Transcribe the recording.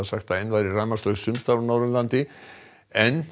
að enn væri rafmagnslaust sums staðar á Norðurlandi en